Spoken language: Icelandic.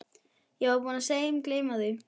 Ég var búinn að steingleyma því.